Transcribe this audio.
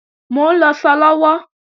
Mò ń lọṣọ lọ́wọ́